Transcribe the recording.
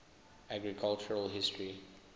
architectural history